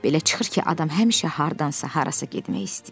Belə çıxır ki, adam həmişə hardansa harasa getmək istəyir.